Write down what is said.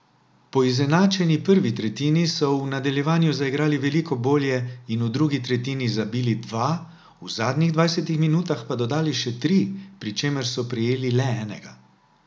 Po izenačeni prvi tretjini so v nadaljevanju zaigrali veliko bolje in v drugi tretjini zabili dva, v zadnjih dvajsetih minutah pa dodali še tri, pri čemer so prejeli le enega.